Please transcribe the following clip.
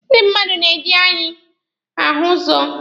Ndị mmadụ na-eji anya ahụ ụzọ.